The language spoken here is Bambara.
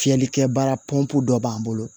Fiyɛlikɛ baara pɔnp dɔ b'an bolo